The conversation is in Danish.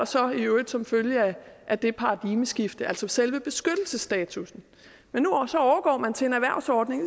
så i øvrigt som følge af det paradigmeskifte altså selve beskyttelsesstatussen men nu overgår man til en erhvervsordning og